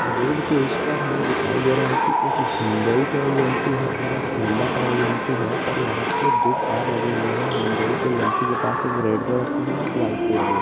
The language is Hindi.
रोड के उस पार हमे दिखाई दे रहा है कि एक हुंडई एजेंसी है ओर एक होंडा का एजेंसी है और वहा पे दो कार लगे हुए है हुंडई की एजेंसी के पास एक रेड कलर के है एक व्हाइट कलर के --